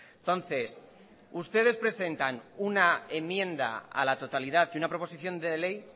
entonces ustedes presentan una enmienda a la totalidad y una proposición de ley